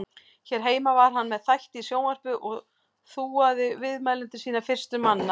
Hér heima var hann með þætti í sjónvarpi og þúaði viðmælendur sína fyrstur manna.